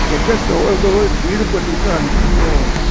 ह्याच्यात जवळजवळ दीड पटीच अंतर पडतं